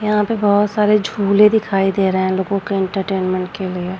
यहाँ पे बहुत सारे झूले दिखाई दे रहे है लोगो के एंटरटेनमेंट के लिए।